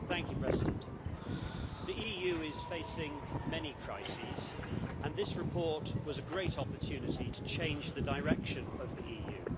Mr President, the EU is facing many crises and this report was a great opportunity to change the direction of the EU.